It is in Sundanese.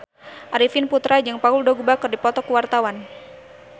Arifin Putra jeung Paul Dogba keur dipoto ku wartawan